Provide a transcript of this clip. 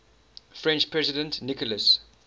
french president nicolas